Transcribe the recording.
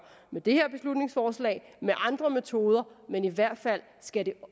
med det her beslutningsforslag med andre metoder men i hvert fald skal det